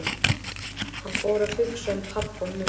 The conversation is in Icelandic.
Hann fór að hugsa um pabba og mömmu.